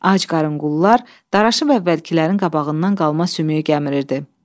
Ac qarın qullular daraşıb əvvəlkilərin qabağından qalma sümüyü gəmirirdi.